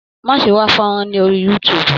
Má ṣe wá fọ́nrán ní orí youtube.